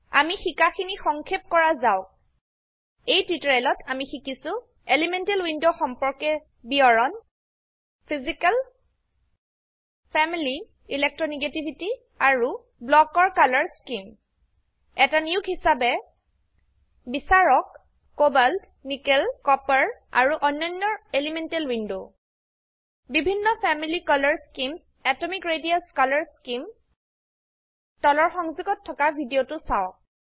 আমি শিকাখিনি সংক্ষেপ কৰা যাওক এই টিউটোৰিয়েলত আমি শিকিছো এলিমেন্টেল ৱিন্দো সম্পৰ্কে বিবৰণ 1ফিজিকেল 2ফেমিলি 3ইলেকট্ৰনগেটিভিটি আৰু 4ব্লক ৰ কালাৰ স্কিম এট নিয়োগ হিসাবে বিচাৰক কোবাল্ট নিকেল কপাৰ আৰু অন্যন্যৰ এলিমেন্টেল ৱিন্দো বিভিন্ন family colour schemes atomic radius colour scheme তলৰ সংযোগত থকা ভিদিয়তো চাওক